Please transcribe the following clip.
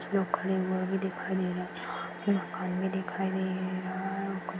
लोग खड़े हुए भी दिखाई दे रहा हैं एक आदमी दिखाई दे रहा हैं।